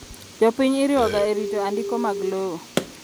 Jopiny iriwoga erito andiko mag lowo.